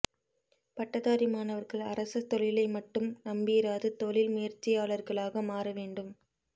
பட்டதாரி மாணவர்கள் அரச தொழிலை மட்டும் நம்பியிராது தொழில் முயற்சியாளர்களாக மாற வேண்டும்